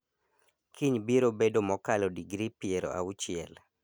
Kiny biro bedo mokalo digri piero auchiel